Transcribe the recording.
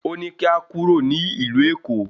Ó ní kí a kúrò ní ìlú Èkó